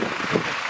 Bəli, tamamilə.